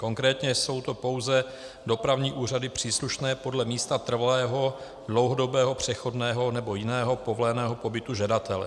Konkrétně jsou to pouze dopravní úřady příslušné podle místa trvalého, dlouhodobého, přechodného nebo jiného povoleného pobytu žadatele.